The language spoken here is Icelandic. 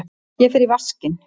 Ég fer í vaskinn.